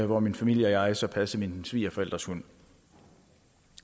hvor min familie og jeg så passede mine svigerforældres hund